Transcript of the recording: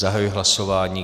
Zahajuji hlasování.